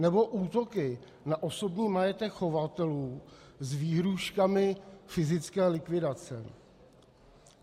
Nebo útoky na osobní majetek chovatelů s výhrůžkami fyzické likvidace.